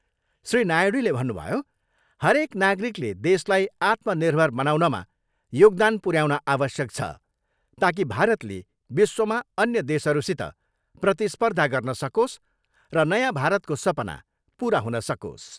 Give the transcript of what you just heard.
श्री नायडूले भन्नुभयो, हरेक नागरिकले देशलाई आत्मनिर्भर बनाउनमा योगदान पुऱ्याउन आवश्यक छ, ताकि भारतले विश्वमा अन्य देशहरूसित प्रतिस्पर्धा गर्न सकोस् र नयाँ भारतको सपना पुरा हुन सकोस्।